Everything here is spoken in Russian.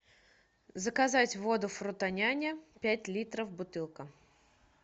заказать воду фрутоняня пять литров бутылка